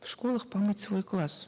в школах помыть свой класс